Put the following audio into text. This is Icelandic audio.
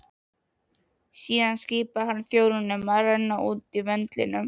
Síðan skipaði hann þjónunum að renna út vöndlinum.